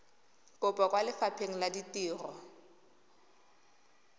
kopo kwa lefapheng la ditiro